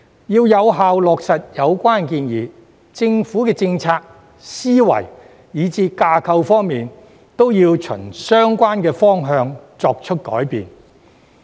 要有效落實有關建議，政府的政策、思維以至架構，都要循相關方向作出改變。